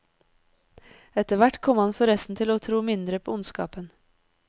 Etter hvert kom han forresten til å tro mindre på ondskapen.